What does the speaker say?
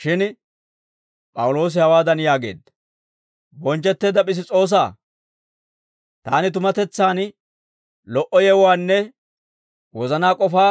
Shin P'awuloosi hawaadan yaageedda; «Bonchchetteedda Piss's'oosaa, taani tumatetsaan lo"o yewuwaanne wozanaa k'ofaa